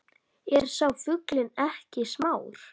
Er sá fuglinn ekki smár